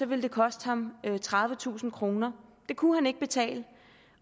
ville det koste ham tredivetusind kroner det kunne han ikke betale